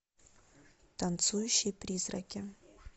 танцующие призраки